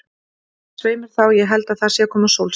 Svei mér þá, ég held að það sé að koma sólskin.